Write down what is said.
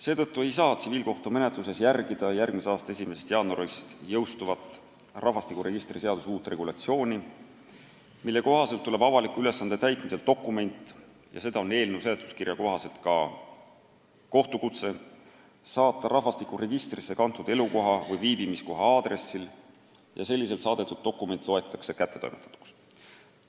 Seetõttu ei saa tsiviilkohtumenetluses järgida järgmise aasta 1. jaanuaril jõustuvat rahvastikuregistri seaduse uut regulatsiooni, mille kohaselt tuleb avaliku ülesande täitmisel dokument – seda on eelnõu seletuskirja kohaselt ka kohtukutse – saata rahvastikuregistrisse kantud elukoha või viibimiskoha aadressil ja selliselt saadetud dokument loetakse kättetoimetatuks.